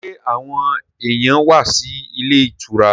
Sẹ́ àwọn èyàn wá sí ilé ìtura?